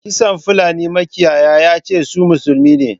Kisan fulani makiyaya yace su musulmi ne.